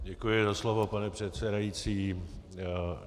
Děkuji za slovo, pane předsedající.